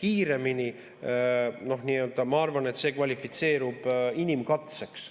kiiremini – no ma arvan, et see kvalifitseerub inimkatseks.